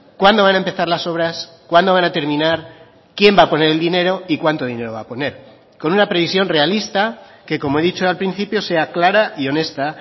cuándo van a empezar las obras cuándo van a terminar quién va a poner el dinero y cuánto dinero va a poner con una previsión realista que como he dicho al principio sea clara y honesta